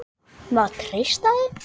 Má treysta þeim?